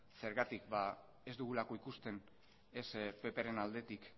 zergatik ba ez dugulako ikusten ez ppren aldetik